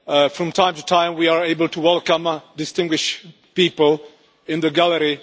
From time to time we are able to welcome distinguished people in the gallery.